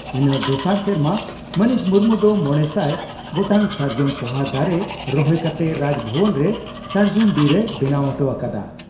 ᱤᱱᱟᱹ ᱫᱚᱥᱟᱨ ᱥᱮᱨᱢᱟ ᱢᱟᱹᱱᱤᱡ ᱢᱩᱨᱢᱩ ᱫᱚ ᱢᱚᱲᱮᱥᱟᱭ ᱜᱚᱴᱟᱝ ᱥᱟᱨᱡᱚᱢ ᱯᱚᱦᱟ ᱫᱟᱨᱮ ᱨᱚᱦᱚᱭ ᱠᱟᱛᱮ ᱨᱟᱡᱽᱵᱷᱚᱵᱚᱱ ᱨᱮ ᱥᱟᱨᱡᱚᱢ ᱵᱤᱨ ᱮ ᱵᱮᱱᱟᱣ ᱚᱴᱚ ᱟᱠᱟᱫᱼᱟ ᱾